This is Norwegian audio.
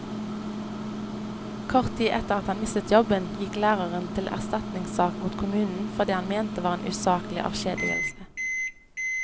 Kort tid etter at han mistet jobben, gikk læreren til erstatningssak mot kommunen for det han mente var en usaklig avskjedigelse.